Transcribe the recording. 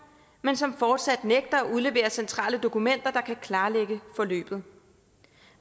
men som fortsat nægter at udlevere centrale dokumenter der kan klarlægge forløbet